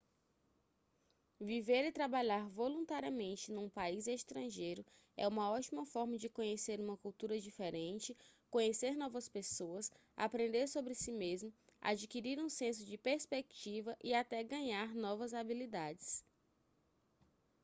viver e trabalhar voluntariamente num país estrangeiro é uma ótima forma de conhecer uma cultura diferente conhecer novas pessoas aprender sobre si mesmo adquirir um senso de perspectiva e até ganhar novas habilidades